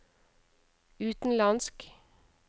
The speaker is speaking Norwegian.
utenlandsk